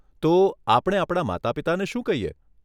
તો, આપણે આપણા માતાપિતાને શું કહીએ?